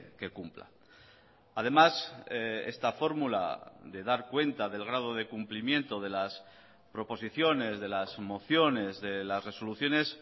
que cumpla además esta fórmula de dar cuenta del grado de cumplimiento de las proposiciones de las mociones de las resoluciones